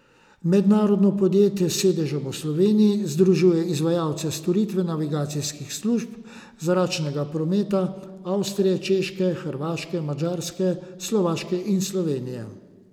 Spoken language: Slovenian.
Mednarodno podjetje s sedežem v Sloveniji združuje izvajalce storitev navigacijskih služb zračnega prometa Avstrije, Češke, Hrvaške, Madžarske, Slovaške in Slovenije.